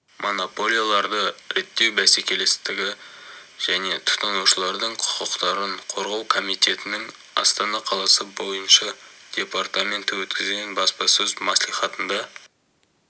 монополияларды реттеу бәсекелестікті және тұтынушылардың құқықтарын қорғау комитетінің астана қаласы бойынша департаменті өткізген баспасөз мәслихатында